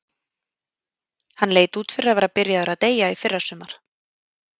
Hann leit út fyrir að vera byrjaður að deyja í fyrrasumar.